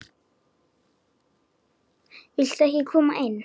Viltu ekki koma inn?